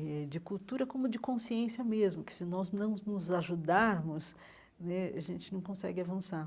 eh de cultura como de consciência mesmo, que se nós não nos ajudarmos né, a gente não consegue avançar.